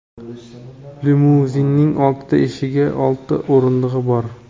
Limuzinning oltita eshigi va oltita o‘rindig‘i bor.